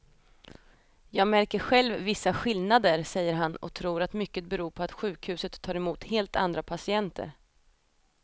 Jag märker själv vissa skillnader, säger han och tror att mycket beror på att sjukhuset tar emot helt andra patienter.